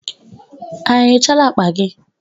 Ha enyochaala akpa gi?